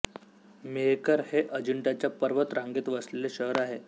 मेहकर हे अजिंठ्याच्या पर्वत रांगेत वसलेले शहर आहे